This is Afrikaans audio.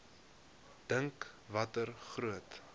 dink watter groot